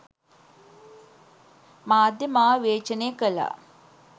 මාධ්‍ය මාව විවේචනය කළා.